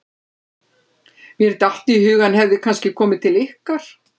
Mér datt í hug að hann hefði kannski komið til ykkar.